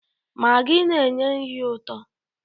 Magị na-enye nri ụtọ.